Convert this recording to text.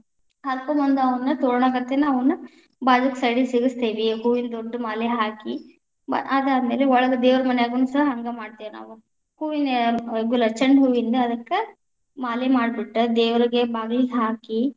ಹರಕೊಂಡ ಬಂದ ಅವುಗಳನ್ನ ತೋರಣಗತೆನ ಅವ್ನ್‌ ಬಾಗಿಲಿನ್ side ಗೆ ಸಿಗಸ್ತೇವಿ, ಹೂವಿನ್‌ ದೊಡ್ಡಮಾಲೆ ಹಾಕಿ ಬ ಅದಾದ ಮೇಲೆ ಒಳಗ ದೇವ್ರ ಮನ್ಯಾಗನೂ ಸಹ ಹಂಗ ಮಾಡ್ತೇವ್‌ ನಾವ, ಹೂವಿನ ಆ ಗುಲಾಬಿ ಚಂಡಹೂವಿಂದ ಅದಕ್ಕ ಮಾಲೆ ಮಾಡ್ಬಿಟ್ಟ ದೇವರಿಗೆ ಬಾಗಿಲಗೆ ಹಾಕಿ.